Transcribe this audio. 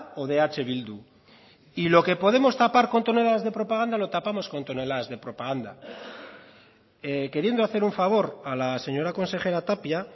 o de eh bildu y lo que podemos tapar con toneladas de propaganda lo tapamos con toneladas de propaganda queriendo hacer un favor a la señora consejera tapia